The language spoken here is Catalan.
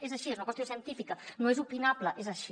és així és una qüestió científica no és opinable és així